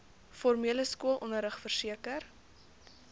formele skoolonderrig verseker